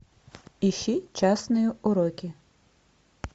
ищи частные уроки